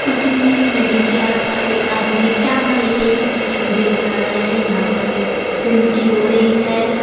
टूटी हुई बिल्डिंग के आस पास एक आदमी कैमरा लेके ये किसकी वीडियो बना रहा है यहां पर गंदगी हो रही है।